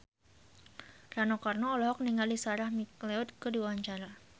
Rano Karno olohok ningali Sarah McLeod keur diwawancara